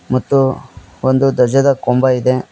ಮತ್ತು ಒಂದು ಧ್ವಜದ ಕೊಂಬ ಇದೆ.